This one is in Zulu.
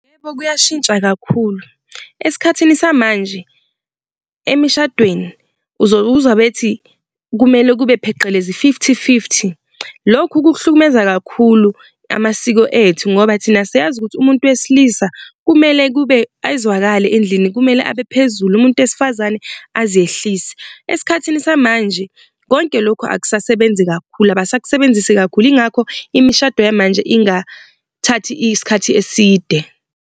Yebo, kuyashintsha kakhulu esikhathini samanje emishadweni uzokuzwa bethi, kumele kube pheqelezi i-fifty fifty lokhu kuhlukumeza kakhulu amasiko ethu ngoba thina siyazi ukuthi umuntu wesilisa kumele kube ezwakale endlini, kumele abe phezulu umuntu wesifazane azehlise. Esikhathini samanje konke lokhu akusasebenzi kakhulu abasakusebenzisi kakhulu, yingakho imishado yamanje ingathathi isikhathi eside.